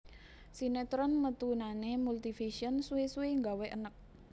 Sinetron metunane Multivision suwi suwi nggawe eneg